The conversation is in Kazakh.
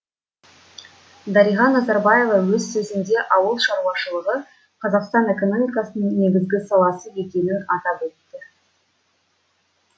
дариға назарбаева өз сөзінде ауыл шаруашылығы қазақстан экономикасының негізгі саласы екенін атап өтті